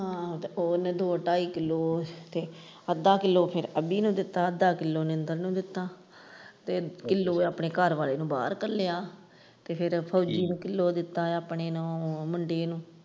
ਹਾਂ ਤੇ ਉਹਨੇ ਦੋ ਢਾਈ ਕਿੱਲੋ ਅੱਧਾ ਕਿੱਲੋ ਅਭੀ ਨੂੰ ਦਿੱਤਾ ਅੱਧਾ ਕਿਲੋ ਮਹਿੰਦਰ ਨੂੰ ਦਿੱਤਾ ਤੇ ਕਿਲੋ ਆਪਣੇ ਘਰਵਾਲੇ ਨੂੰ ਬਾਹਰ ਘੱਲਿਆ ਤੇ ਫਿਰ ਫੋਜ਼ੀ ਨੇ ਕਿਲੋ ਦਿੱਤਾ ਹੈ ਆਪਣੇ ਮੁੰਡੇ ਨੂੰ।